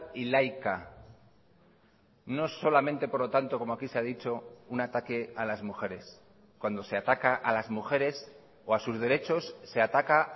y laica no solamente por lo tanto como aquí se ha dicho un ataque a las mujeres cuando se ataca a las mujeres o a sus derechos se ataca